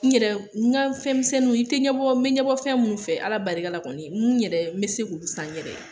N yɛrɛ n ka fɛnsɛnniw, i tɛ ɲɛbɔ n bɛ ɲɛbɔ fɛn minnu fɛ ala barika la kɔni , n yɛrɛ n bɛ se k'u san n yɛrɛ ye.